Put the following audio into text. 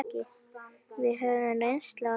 Við höfðum reynslu að deila.